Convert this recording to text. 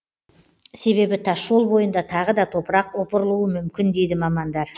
себебі тасжол бойында тағы да топырақ опырылуы мүмкін дейді мамандар